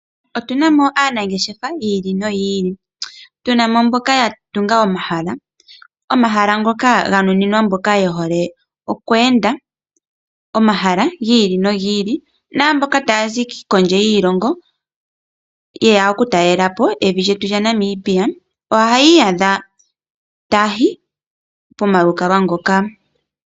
Otu na mo aanangeshefa yi ili noyi ili. Tu na mo mboka ya tunga omahala, omahala ngoka ga nuninwa mboka ye hole oku enda omahala gi ili gi naamboka taya zi kondje yiilongo ye ya okutalela po evi lyetu lya Namibia. Ohaya iyadha taya yi pomalukalwa ngoka.